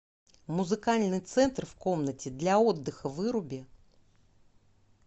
музыкальный центр в комнате для отдыха выруби